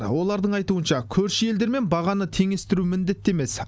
олардың айтуынша көрші елдермен бағаны теңестіру міндетті емес